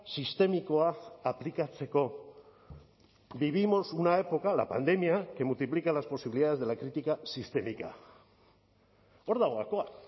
sistemikoa aplikatzeko vivimos una época la pandemia que multiplica las posibilidades de la crítica sistémica hor dago gakoa